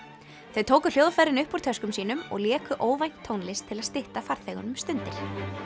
þau tóku hljóðfærin upp úr töskum sínum og léku óvænt tónlist til að stytta farþegunum stundir